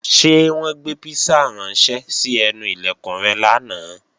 Ṣé wọ́n gbé písà ránṣẹ́ sí ẹnu Ilẹ̀kùn rẹ lánàá?